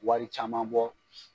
Wari caman bɔ.